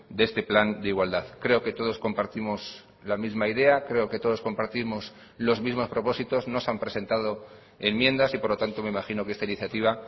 de este plan de igualdad creo que todos compartimos la misma idea creo que todos compartimos los mismos propósitos no se han presentado enmiendas y por lo tanto me imagino que esta iniciativa